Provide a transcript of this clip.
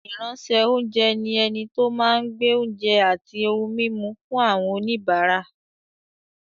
Ìránṣẹ́-oúnjẹ ni ẹni tó máa ń gbé oúnjẹ àti ohun-mímu fún àwọn oníbàárà.